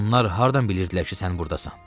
Onlar hardan bilirdilər ki, sən burdasan?